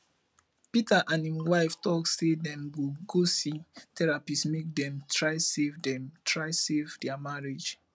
peter and im wife talk say dem go go see therapist make dem try save dem try save their marriage